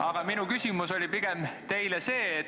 Aga minu küsimus teile on pigem see: